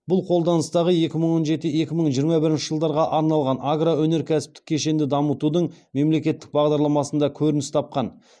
бұл қолданыстағы екі мың он жеті екі мың жиырма бірінші жылдарға арналған агроөнеркәсіптік кешенді дамытудың мемлекеттік бағдарламасында көрініс тапқан